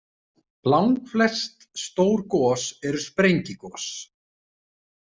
Langflest stór gos eru sprengigos.